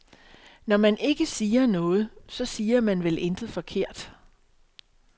Når man ikke siger noget, så siger man vel intet forkert.